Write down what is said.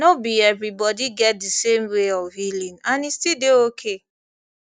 no be everybody get the same way of healing and e still dey okay